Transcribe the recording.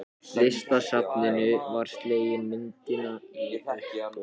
Listasafninu var slegin myndin á uppboði.